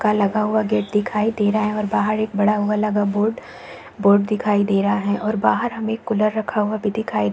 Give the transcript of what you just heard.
का लगा हुआ गेट दिखाई दे रहा है और बाहर एक बड़ा हुआ लगा बोर्ड बोर्ड दिखाई दे रहा है और बाहर हमे एक कूलर लगा हुआ भी दिखाई --